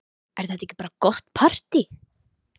Er þetta ekki bara gott partý?